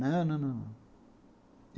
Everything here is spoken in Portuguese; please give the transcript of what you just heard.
Não, não, não.